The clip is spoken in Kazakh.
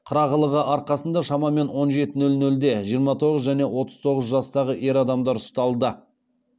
қырағылығы арқасында шамамен он жеті нөл нөлде жиырма тоғыз және отыз тоғыз жастағы ер адамдар ұсталды